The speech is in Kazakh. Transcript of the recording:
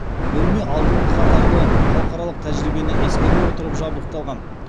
бөлме алдыңғы қатарлы халықаралық тәжірибені ескере отырып жабдықталған